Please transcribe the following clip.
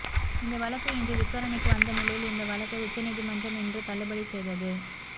இந்த வழக்கு இன்று விசாரணைக்கு வந்த நிலையில் இந்த வழக்கை உச்சநீதிமன்றம் இன்று தள்ளுபடி செய்தது